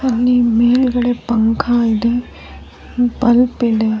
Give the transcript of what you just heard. ಅಲ್ಲಿ ಮೇಲ್ಗಡೆ ಪಂಕಾ ಇದೆ ಬಲ್ಬ್ ಇದೆ.